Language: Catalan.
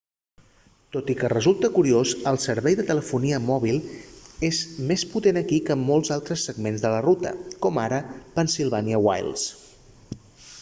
tot i que resulta curiós el servei de telefonia mòbil és més potent aquí que en molts altres segments de la ruta com ara pennsylvania wilds